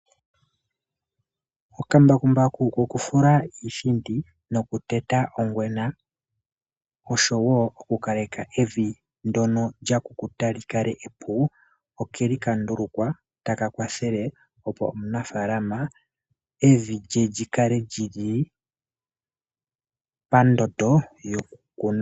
Okambakumbaku kokufula iithindi nokuteta ongwena osho wo okukaleka evi ndyono lya kukuta li kale epu, oke li ka ndulukwa ta ka kwathele opo omunafaalama evi lye li kale pandondo yokukunwa.